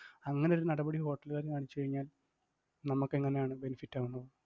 അങ്ങനെ ഒരു നടപടി hotel ഉകാര് കാണിച്ചുകഴിഞ്ഞാൽ നമ്മക്കെങ്ങനെയാണ് benefit ആവുന്നത്?